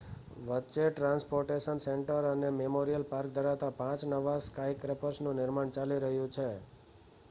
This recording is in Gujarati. વચ્ચે ટ્રાન્સપોર્ટેશન સેન્ટર અને મેમોરિયલ પાર્ક ધરાવતા પાંચ નવા સ્કાયસ્ક્રેપર્સનુ નિર્માણ ચાલી રહ્યું છે